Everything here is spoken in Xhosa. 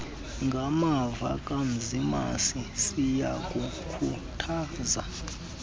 ngamava kamzimasi siyakukhuthaza